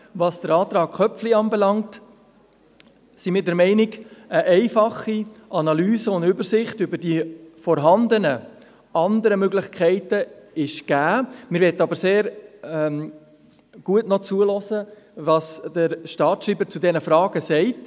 Was den Antrag Köpfli betrifft, sind wir der Meinung, dass eine einfache Analyse und Übersicht über die vorhandenen anderen Möglichkeiten gegeben ist.